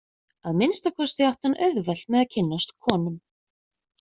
Að minnsta kosti átti hann auðvelt með að kynnast konum.